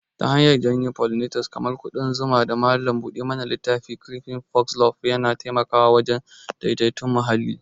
Ta hanyar janyo pollinators kamar ƙudan zuma da malam buɗe mana littafi, creeping foxglove yana taimakawa wajen daidaiton muhalli.